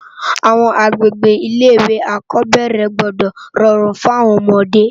Awòn agbégbé ilé iwé ákòbèrè gbòdò ròrún fún áwòn òmòdé